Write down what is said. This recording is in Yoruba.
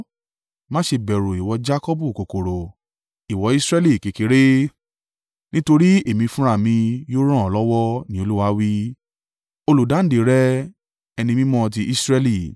Má ṣe bẹ̀rù, ìwọ Jakọbu kòkòrò, ìwọ Israẹli kékeré, nítorí Èmi fúnra mi yóò ràn ọ́ lọ́wọ́,” ni Olúwa wí, olùdáǹdè rẹ, Ẹni Mímọ́ ti Israẹli.